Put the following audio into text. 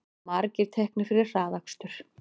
Margir teknir fyrir hraðakstur